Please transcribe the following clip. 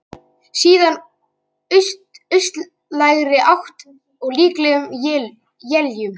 Síðan austlægri átt og líklega éljum